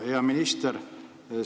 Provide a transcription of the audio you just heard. Hea minister!